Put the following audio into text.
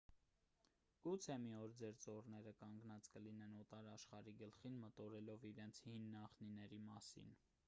գուցե մի օր ձեր ծոռները կանգնած կլինեն օտար աշխարհի գլխին մտորելով իրենց հին նախնիների մասին